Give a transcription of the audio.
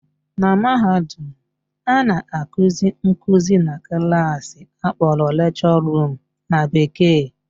Na mahadum, a na-akụzi nkụzi na klaasị akpọrọ lecture room na bekee